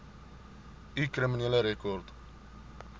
u kriminele rekord